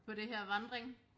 På det her vandring